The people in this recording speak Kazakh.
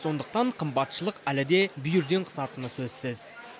сондықтан қымбатшылық әлі де бүйірден қысатыны сөзсіз